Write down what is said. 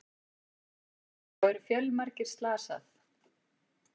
Þá eru fjölmargir slasað